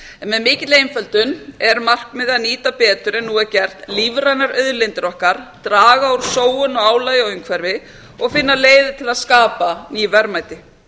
en með mikilli einföldun er markmiðið að nýta betur en nú er gert lífrænar auðlindir okkar draga úr sóun og álagi á umhverfi og finna leiðir til að skapa ný verðmæti